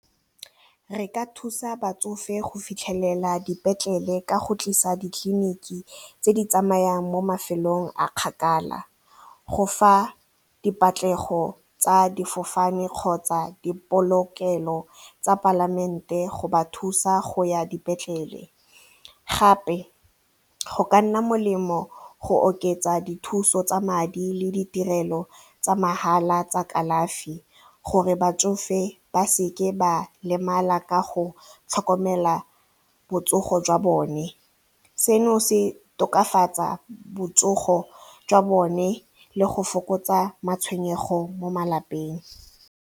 Re ka thusa batsofe go fitlhelela dipetlele ka go tlisa ditleliniki tse di tsamayang mo mafelong a kgakala. Go fa dipatlego tsa difofane kgotsa dipolokelo tsa palamente go ba thusa go ya dipetlele gape go ka nna molemo go oketsa dithuso tsa madi le ditirelo tsa mahala tsa kalafi gore batsofe ba seke ba lemala ka go tlhokomela botsogo jwa bone, seno se tokafatsa botsogo jwa bone le go fokotsa matshwenyego mo malapeng.